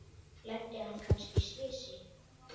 Lenti hann kannski í slysi?